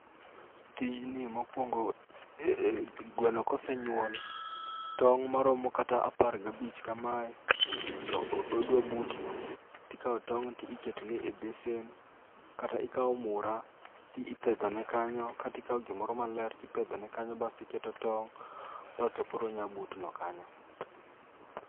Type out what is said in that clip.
Tijni mokwongo e e gweno kosenyuol, tong' maromo kata apar gabich kamae to odwa butno, tikawo tong' ti iketone e besen. Kata ikawo mura to ipedhone kanyo, katikawo gimoro maler tipedhone kanyo basti keto tong' basto koro onya butno kanyo.